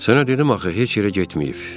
Sənə dedim axı, heç yerə getməyib.